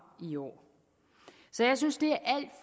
i år så jeg synes det